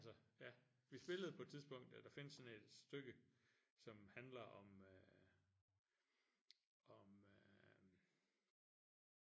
Altså ja vi spillede på et tidspunkt ja der findes sådan et stykke som handler om øh om øh